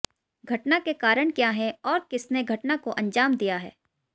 घटना के कारण क्या है और किसने घटना को अंजाम दिया है